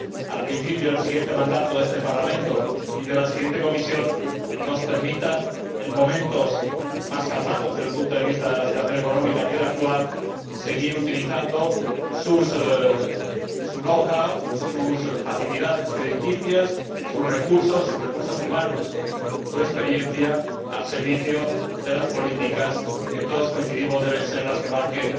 al principio del siguiente mandato de este Parlamento y de la próxima Comisión, nos permitan, en momentos más calmados que el actual, desde el punto de vista de la situación económica, seguir utilizando su know how sus facilidades crediticias, sus recursos financieros, sus recursos humanos y su experiencia al servicio de las políticas que todos coincidimos en que deben ser las que marquen